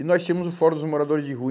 E nós tínhamos o Fórum dos Moradores de Rua.